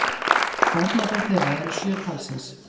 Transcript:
Barnabörn þeirra eru sjö talsins